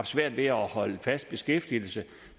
svært ved at holde sig fast beskæftiget